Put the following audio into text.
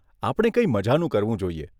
આપણે કંઈ મઝાનું કરવું જોઈએ.